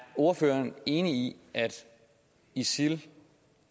ordføreren enig i at isil